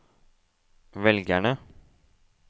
velgerne